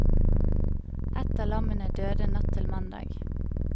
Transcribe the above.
Ett av lammene døde natt til mandag.